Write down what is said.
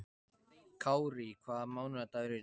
Kárí, hvaða mánaðardagur er í dag?